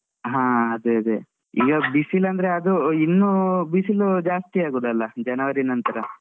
ಹಾ ಅದೆ ಅದೆ. ಈಗ್ ಬಿಸಿಲ್ ಅಂದ್ರೆ ಅದೂ ಇನ್ನೂ ಬಿಸಿಲು ಜಾಸ್ತಿಯೇ ಆಗುದಲ್ಲ January ನಂತ್ರ